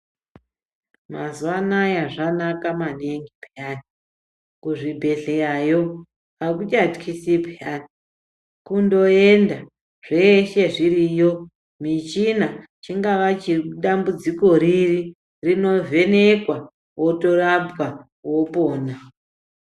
Mazuva anaya zvanaka maningi peyani, kuzvibhedhleyayo akuchatyisi peyani, kundoyenda zveshe zviriyo, michina chingava chedambudziko riri, rinovhenekwa wotorapwa wopona.